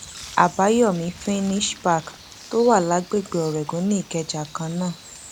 àbáyọmí finnish park tó wà lágbègbè ọrẹgun nìkẹjà kan náà